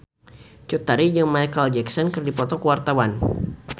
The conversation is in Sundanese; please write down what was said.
Cut Tari jeung Micheal Jackson keur dipoto ku wartawan